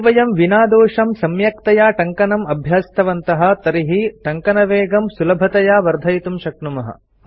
यदि वयं विनादोषं सम्यक्तया टङ्कणम् अभ्यस्तवन्तः तर्हि टङ्कणवेगं सुलभतया वर्धयितुं शक्नुमः